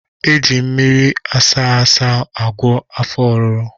Eji mmiri ashegbe agwọ afọ oruru